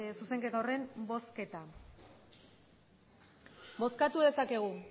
zuzenketa horren bozketa bozkatu dezakegu